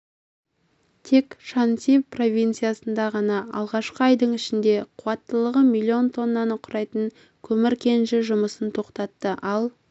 тек шаньси провинциясында ғана алғашқы айдың ішінде қуаттылығы миллион тоннаны құрайтын көмір кеніші жұмысын тоқтатты ал